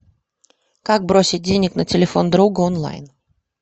как бросить денег на телефон другу онлайн